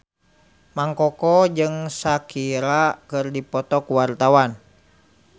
Mang Koko jeung Shakira keur dipoto ku wartawan